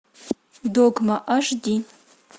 догма аш ди